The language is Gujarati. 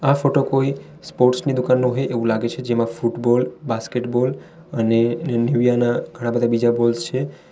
આ ફોટો કોઈ સ્પોર્ટ્સ ની દુકાનનો હોય એવુ છે જેમા ફૂટબૉલ બાસ્કેટબૉલ અને નિવ્યા ના ઘણા બધા બીજા બૉલ્સ છે.